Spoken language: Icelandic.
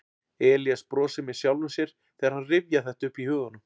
Elías brosir með sjálfum sér þegar hann rifjar þetta upp í huganum.